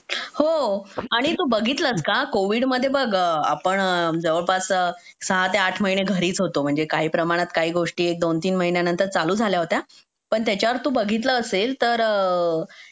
हो आणि तू बघितलस का कोविड मध्ये बघ आपण जवळपास सहा ते आठ महिने घरीच होतो म्हणजे काही प्रमाणात काही गोष्टी दोन-तीन महिन्यानंतर चालू झाल्या होत्या पण त्याच्यावर तू बघितला असेल तर